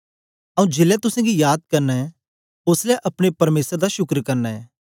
आऊँ जेलै तुसेंगी याद करना ऐं ओसलै अपने परमेसर दा शुक्र करना ऐं